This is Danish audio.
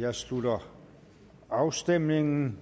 jeg slutter afstemningen